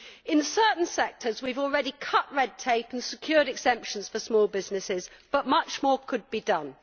In certain sectors we have already cut red tape and secured exemptions for small businesses, but much more could be done.